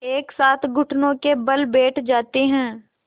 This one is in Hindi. एक साथ घुटनों के बल बैठ जाते हैं